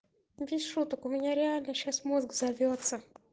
без шуток у меня реально сейчас мозг взорвётся